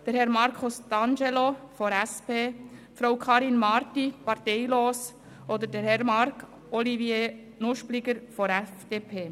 Herr Markus D’Angelo, SP, Frau Karin Marti, parteilos, und Herr Marc-Oliver Nuspliger, FDP.